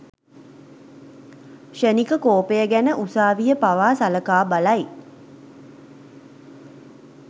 ක්‍ෂණික කෝපය ගැන උසාවිය පවා සලකා බලයි.